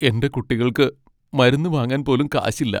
എന്റെ കുട്ടികൾക്ക് മരുന്ന് വാങ്ങാൻ പോലും കാശില്ല.